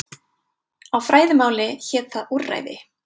Á fræðimáli hét það úrræði.